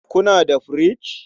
Kuna da firich?